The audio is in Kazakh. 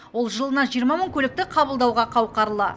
ол жылына жиырма мың көлікті қабылдауға қауқарлы